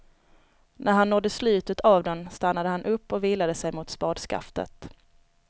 När han nådde slutet av den stannade han upp och vilade sig mot spadskaftet.